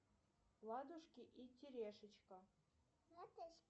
ладушки и терешечка